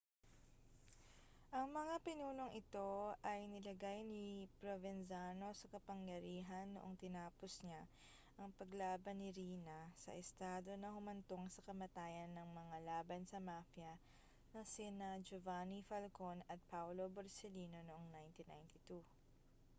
ang mga pinunong ito ay nilagay ni provenzano sa kapangyarihan noong tinapos niya ang paglaban ni riina sa estado na humantong sa kamatayan ng mga laban sa mafia na sina giovanni falcone at paolo borsellino noong 1992